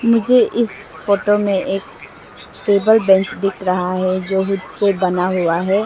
मुझे इस फोटो में एक टेबल बेंच दिख रहा है जो से बना हुआ है।